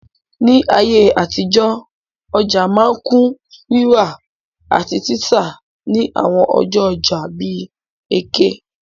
Ní ayé àtijọ́, ọja ma n kun rírà àtí títà ni àwon ọjọ́ ojà bi Eke